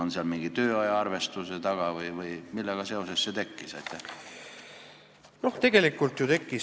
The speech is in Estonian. On seal mingi tööajaarvestus taga või millega seoses see mõte tekkis?